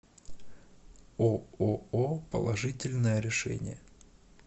ооо положительное решение